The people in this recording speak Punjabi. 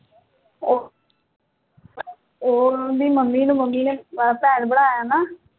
ਉਹ ਉਹਦੀ mummy ਨੂੰ mummy ਨੇ ਭੈਣ ਬਣਾਇਆ ਨਾ